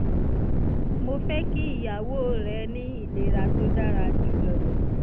mo fẹ́ kí ìyàwó rẹ ní ìlera tó dára jùlọ